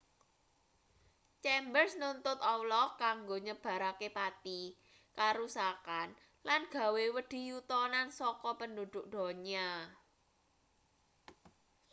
chambers nuntut allah kanggo nyebarake pati karusakan lan gawe wedi yutonan saka penduduk donya